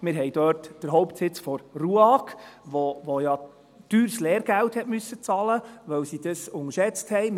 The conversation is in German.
Wir haben dort den Hauptsitz der Ruag, die teures Lehrgeld bezahlen musste, weil sie dies unterschätzt hat.